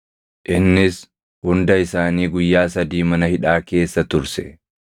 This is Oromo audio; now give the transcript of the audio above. Innis hunda isaanii guyyaa sadii mana hidhaa keessa turse.